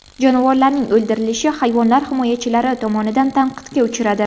Jonivorlarning o‘ldirilishi hayvonlar himoyachilari tomonidan tanqidga uchradi.